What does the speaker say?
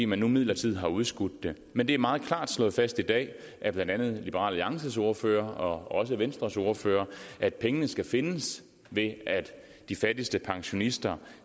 man nu midlertidigt har udskudt det men det er meget klart slået fast i dag af blandt andet liberal alliances ordfører og også venstres ordfører at pengene skal findes ved at de fattigste pensionister